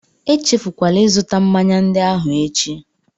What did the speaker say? Echefukwala ịzụta mmanya ndị ahụ echi!